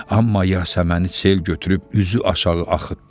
Amma Yasəməni sel götürüb üzü aşağı axıtdı.